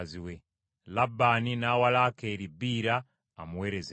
Labbaani n’awa Laakeeri Biira amuweerezenga.